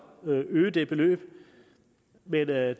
øge det beløb men det er